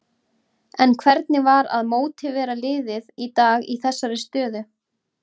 En hvernig var að mótivera liðið í dag í þessari stöðu?